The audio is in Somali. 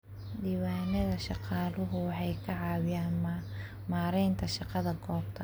Diiwaanada shaqaaluhu waxay ka caawiyaan maaraynta shaqada goobta.